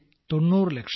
90 ലക്ഷം